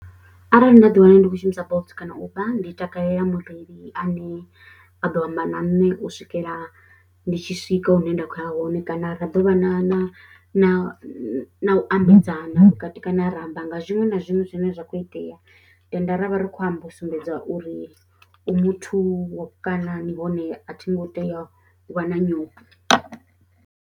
Arali nda ḓiwana ndi khou shumisa Bolt kana Uber ndi takalela mureili ane a ḓo amba na nṋe u swikela ndi tshi swika hune nda khou ya hone kana ra ḓo vha na na na na u ambedzana vhukati kana a ra amba nga zwiṅwe na zwiṅwe zwine zwa kho itea, tenda ra vha ri khou amba u sumbedza uri u muthu kana nahone a thi ngo tea u vha na nyofho.